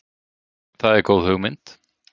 Það er góð hugmynd.